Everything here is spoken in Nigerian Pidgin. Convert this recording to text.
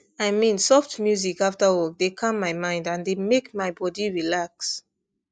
i mean soft music after work dey calm my mind and dey make my body relax